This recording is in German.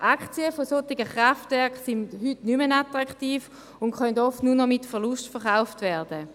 Aktien von solchen Kraftwerken sind heute nicht mehr attraktiv und können oft nur noch mit Verlust verkauft werden.